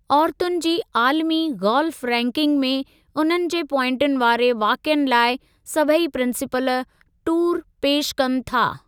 औरतुनि जी आलमी गोल्फ़ रैंकिंग में उन्हनि जे प्वाइंटुनि वारे वाक़िअनि लाइ सभई प्रिंसिपल टूर पेशि कनि था।